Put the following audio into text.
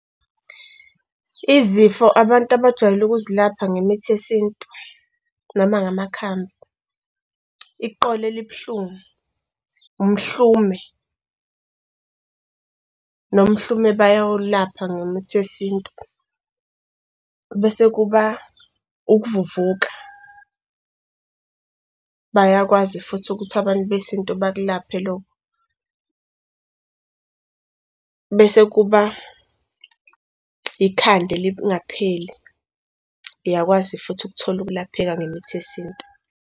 Izifo abantu abajwayele ukuzilapha ngemithi yesintu noma ngamakhambi iqolo elibuhlungu, umhlume, nomhlume bayawulapha ngemithi yesintu. Bese kuba ukuvuvuka, bayakwazi futhi ukuthi abantu besintu bakulaphe lokho. Bese kuba ikhanda elingapheli, uyakwazi futhi ukuthola ukulapheka ngemithi yesintu.